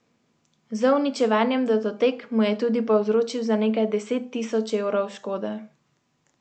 Z uničevanjem datotek mu je tudi povzročil za nekaj deset tisoč evrov škode.